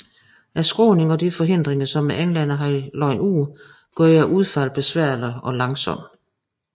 Skråningen og de forhindringer som englænderne havde lagt ud gjorde udfaldet besværligt og langsomt